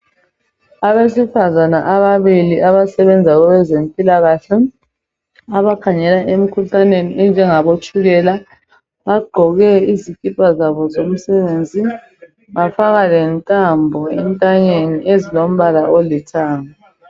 Abesifazane ababili abasebenza kwezempilakahle abakhangela emikhuhlaneni enjengabo tshukela. Bagqoke izikipa zabo zomsebenzi bafaka lentambo entanyeni ezilombala olithanga.